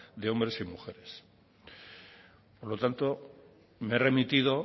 de hombres y mujeres por lo tanto me he remitido